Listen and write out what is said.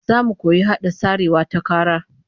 Zamu koyi hada sarewa ta kara